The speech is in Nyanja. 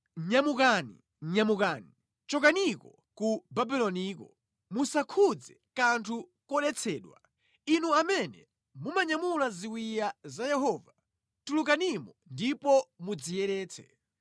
Nyamukani, nyamukani, chokaniko ku Babuloniko! Musakhudze kanthu kodetsedwa! Inu amene mumanyamula ziwiya za Yehova tulukanimo ndipo mudziyeretse.